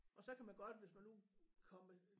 Og så kan man godt hvis man nu komme